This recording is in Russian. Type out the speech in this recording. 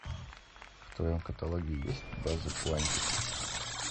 в твоем каталоге есть база куантико